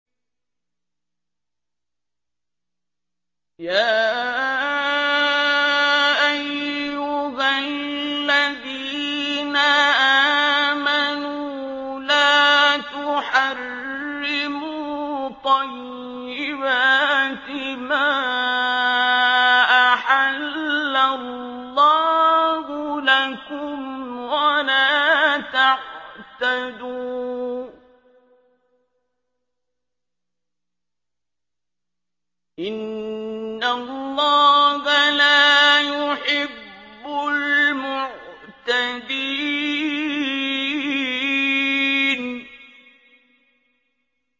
يَا أَيُّهَا الَّذِينَ آمَنُوا لَا تُحَرِّمُوا طَيِّبَاتِ مَا أَحَلَّ اللَّهُ لَكُمْ وَلَا تَعْتَدُوا ۚ إِنَّ اللَّهَ لَا يُحِبُّ الْمُعْتَدِينَ